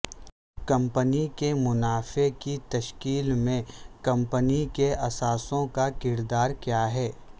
company کے منافع کی تشکیل میں کمپنی کے اثاثوں کا کردار کیا ہے